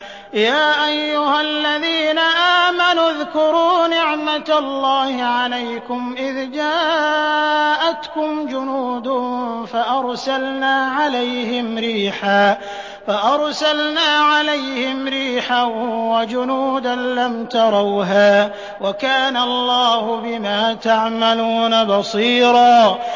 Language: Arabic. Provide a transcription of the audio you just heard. يَا أَيُّهَا الَّذِينَ آمَنُوا اذْكُرُوا نِعْمَةَ اللَّهِ عَلَيْكُمْ إِذْ جَاءَتْكُمْ جُنُودٌ فَأَرْسَلْنَا عَلَيْهِمْ رِيحًا وَجُنُودًا لَّمْ تَرَوْهَا ۚ وَكَانَ اللَّهُ بِمَا تَعْمَلُونَ بَصِيرًا